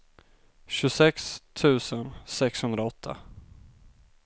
tjugosex tusen sexhundraåtta